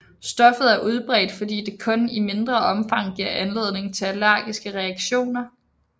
Stoffet er udbredt fordi det kun i mindre omfang giver anledning til allergiske reaktioner